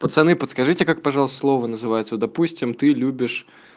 пацаны подскажите как пожалуйста слова называются допустим ты любишь